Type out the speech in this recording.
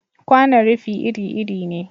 Kwanon rufi iri-iri ne.